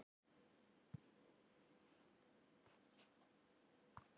Sæl Þórunn, að vera í sambúð eða hjónabandi krefst samvinnu eins og þú efalaust veist.